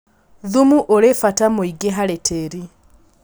Thumu ũrĩ bata mũingĩ harĩ tĩri.